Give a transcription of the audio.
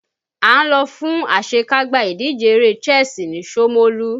À ń lọ fún àṣekágbá ìdíje eré chess ni shomolu